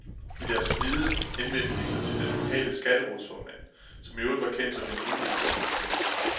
I deres kvide henvendte de sig til den lokale skatterådsformand, som i øvrigt var kendt som en lun og hyggelig fyr.